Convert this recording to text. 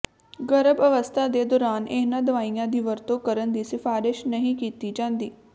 ਗਰਭ ਅਵਸਥਾ ਦੇ ਦੌਰਾਨ ਇਹਨਾਂ ਦਵਾਈਆਂ ਦੀ ਵਰਤੋਂ ਕਰਨ ਦੀ ਸਿਫਾਰਸ਼ ਨਹੀਂ ਕੀਤੀ ਜਾਂਦੀ